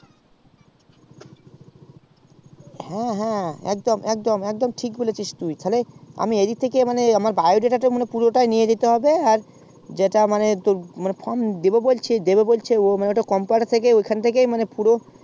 হ্যাঁ হ্যাঁ একদম একদম ঠিক বলেছিস তুই মানে আমার এই দিক থেকেই biodata পুরো নিয়ে যেতে হবে আর ও কম দেব বলছে ওখান থেকেই পুরো